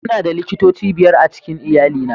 Muna da likitoci biyar a cikin iyalina